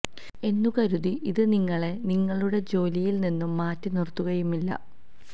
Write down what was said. എന്നു കരുതി ഇതു നിങ്ങളെ നിങ്ങളുടെ ജോലിയില് നിന്നും മാറ്റി നിര്ത്തുകയുമില്ല